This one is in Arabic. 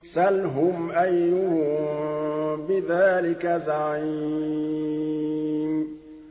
سَلْهُمْ أَيُّهُم بِذَٰلِكَ زَعِيمٌ